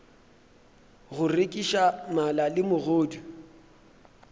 go rekiša mala le megodu